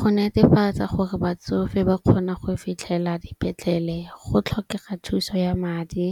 Go netefatsa gore batsofe ba kgona go fitlhelela dipetlele go tlhokega thuso ya madi,